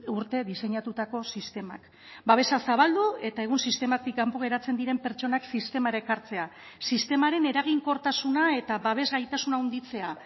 urte diseinatutako sistemak babesa zabaldu eta egun sistematik kanpo geratzen diren pertsonak sistemara ekartzea sistemaren eraginkortasuna eta babes gaitasuna handitzea